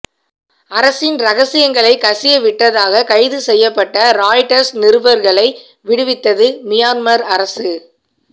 அரசின் ரகசியங்களை கசியவிட்டதாக கைது செய்யப்பட்ட ராய்ட்டர்ஸ் நிருபர்களை விடுவித்தது மியான்மர் அரசு